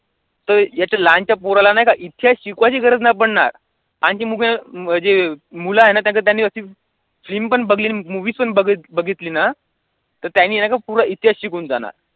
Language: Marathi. तर इथे लहानशा पोराला नाही का इतिहास शिकवायची गरज नाही पडणार आणि मुलं म्हणजे मुले आहेत ना त्याचं त्यांनी film पण बघली आणि movie पण बघितली ना तर त्याने नाही का पुरा इतिहास शिकून जाणार.